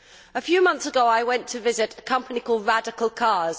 A few months ago I went to visit a company called Radical Cars.